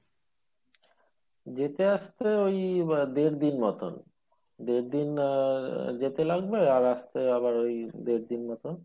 যেতে আসতে ওই আহ দেড় দিন মতন দেড় দিন আহ যেতে লাগবে আর আসতে আবার ওই দেড় দিন মতন